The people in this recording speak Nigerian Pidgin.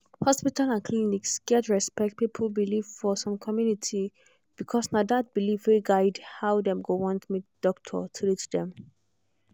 hospital and clinic gats respect people belief for some community because na that belief dey guide how dem go want make doctor treat dem.